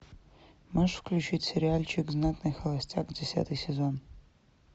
можешь включить сериальчик знатный холостяк десятый сезон